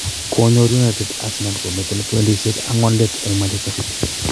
Konyor United Arsenal komiten poindisiek angwan let en Manchester city.